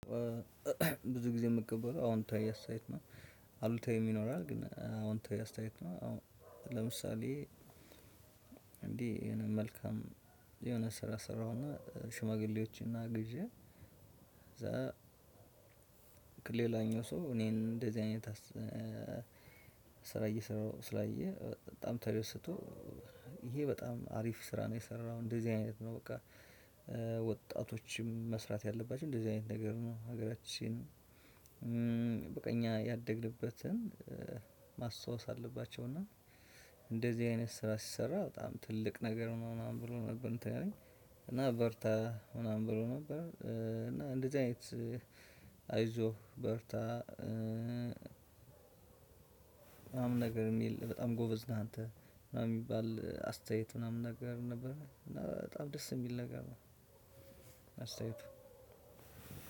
ብዙ ጊዜ የምቀበለው አውንታዊ አስተያየት ነው። አሉታዊም ይኖራል ግን አውንታዊ አስተያየት ነው። ለምሳሌ መልካም የሆነ ስራ ሰራሁና ሽማግሌዎችን አግዤ ከዛ ሌላኛው ሰው እኔን እንደዚህ አይነት ስራ እየሰራሁ ስላየ በጣም ተደስቶ ይሄ በጣም አሪፍ ስራ ነው የሰራው እንደዚህ አይነት ነው በቃ ወጣቶችም መስራት ያለባቸው እንደዚህ አይነት ነገር ነው። ሀገራችን በቃ እኛ ያደግንበትን ማስታወስ አለባቸው እና። እንደዚህ አይነት ስራ ሲሰራ በጣም ትልቅ ነገር ምናምን ብሎ ነበርየሚያበረታታኝ እና በርታ ምናምን ብሎ ነበር እና እንደዚህ አይነት አይዞህ፣ በርታ ምናምን ነገር የሚል በጣም ጎበዝ ነህ አንተ ምናምን የሚባል አስተያየት ምናምን ነገር ነበር። እና በጣም ደስ የሚል ነገር ነው አስተያየቱ።